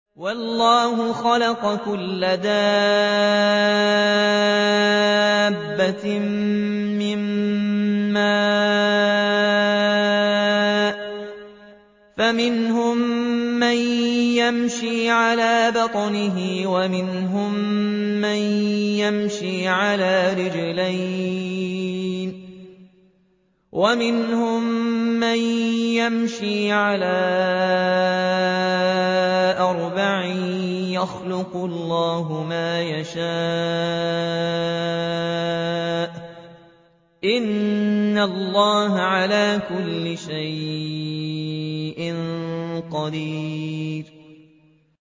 وَاللَّهُ خَلَقَ كُلَّ دَابَّةٍ مِّن مَّاءٍ ۖ فَمِنْهُم مَّن يَمْشِي عَلَىٰ بَطْنِهِ وَمِنْهُم مَّن يَمْشِي عَلَىٰ رِجْلَيْنِ وَمِنْهُم مَّن يَمْشِي عَلَىٰ أَرْبَعٍ ۚ يَخْلُقُ اللَّهُ مَا يَشَاءُ ۚ إِنَّ اللَّهَ عَلَىٰ كُلِّ شَيْءٍ قَدِيرٌ